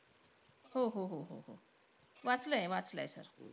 हो-हो-हो-हो-हो वाचलंय, वाचलंय sir.